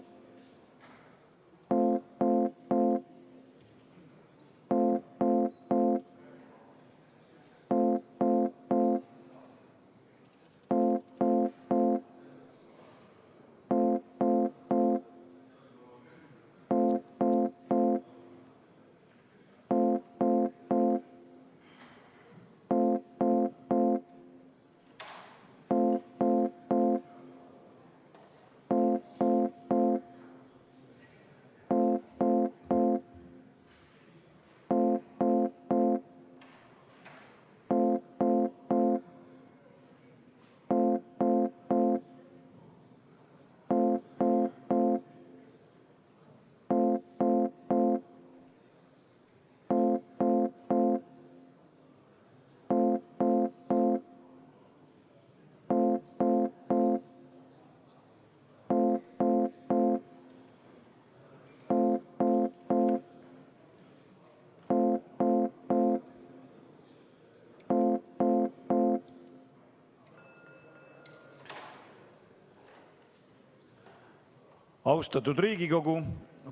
Austatud Riigikogu!